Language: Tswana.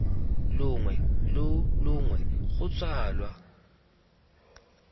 longwe lo longwe kgotsa lwa